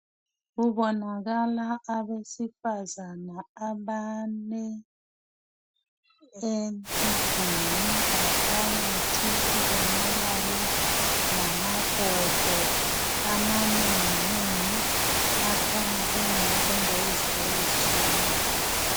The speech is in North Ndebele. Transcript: Kubonakala abesifazana abane endlini ngaphakathi kubonakale lamabhodo amanengi nengi akhanya engawokwenza izinto ezitshiyeneyo.